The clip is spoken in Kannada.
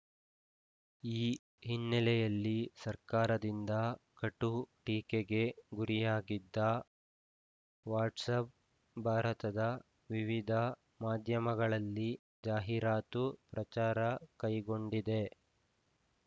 ಈ ಹಿನ್ನೆಲೆಯಲ್ಲಿ ಸರ್ಕಾರದಿಂದ ಕಠು ಟೀಕೆಗೆ ಗುರಿಯಾಗಿದ್ದ ವಾಟ್ಸಾಪ್‌ ಭಾರತದ ವಿವಿಧ ಮಾಧ್ಯಮಗಳಲ್ಲಿ ಜಾಹೀರಾತು ಪ್ರಚಾರ ಕೈಗೊಂಡಿದೆ